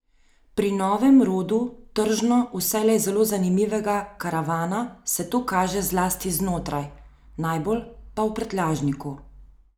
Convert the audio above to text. Pri novem rodu tržno vselej zelo zanimivega karavana se to kaže zlasti znotraj, najbolj pa v prtljažniku.